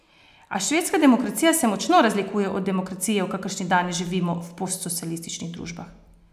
A švedska demokracija se močno razlikuje od demokracije, v kakršni danes živimo v postsocialističnih družbah.